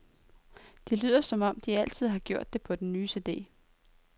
De lyder, som de altid har gjort på den nye cd.